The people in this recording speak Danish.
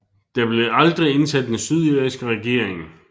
Der blev aldrig indsat en sydirsk regering